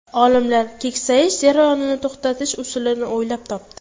Olimlar keksayish jarayonini to‘xtatish usulini o‘ylab topdi.